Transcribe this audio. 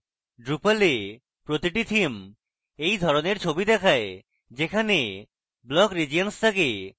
drupal a প্রতিটি theme এই ধরণের ছবি দেয় যেখানে block regions থাকে